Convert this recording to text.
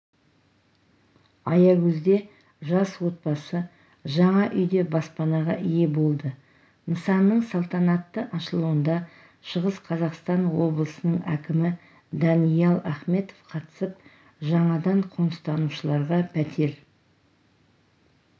аягөзде жас отбасы жаңа үйде баспанаға ие болды нысанның салтанатты ашылуында шығыс қазақстан облысының әкімі даниал ахметов қатысып жаңадан қоныстанушыларға пәтер